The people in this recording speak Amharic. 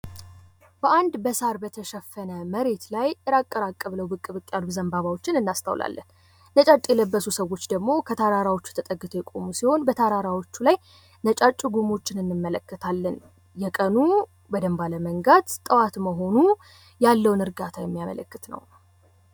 በአንድ በሳር በተሸፈነ መሬት ላይ እራቅ እራቅ ብለው ብቅ ብቅ ያሉ ዘባባዎችን እናስታውላለን። ነጫጭ የለበሱ ሰዎች ደሞ ከተራራው ተጠግተው የቆሙ ሲሆን በተራራዎች ላይ ነጫጭ ጉሞችን እንመለከታለን። የቀኑ በደብ አለመንጋት ጠዋት መሆኑ ያለውን እርጋታ የሚያመለክት ነው።